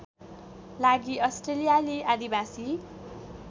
लागि अस्ट्रेलियाली आदिवासी